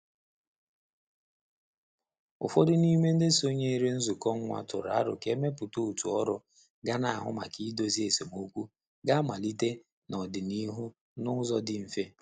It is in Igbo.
Ụfọdụ n'ime ndị sonyere nzukọ nwa tụrụ aro ka e mepụta otu ọrụ ga n'ahụ maka idozi esemokwu g'amalite n'ọdịnihu n'ụzọ dị mfe